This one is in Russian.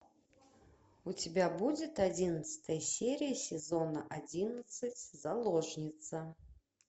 у тебя будет одиннадцатая серия сезона одиннадцать заложница